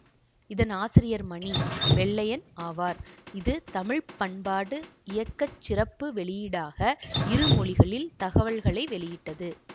இதன் ஆசிரியர் மணி வெள்ளையன் ஆவார் இது தமிழ் பண்பாட்டு இயக்கச் சிறப்பு வெளியீடாக இரு மொழிகளில் தகவல்களை வெளியிட்டது